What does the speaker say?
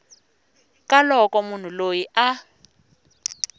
ka loko munhu loyi a